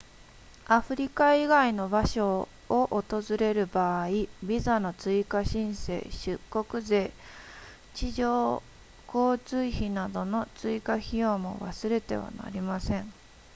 アフリカ以外の場所を訪れる場合ビザの追加申請出国税地上交通費などの追加費用も忘れてはなりません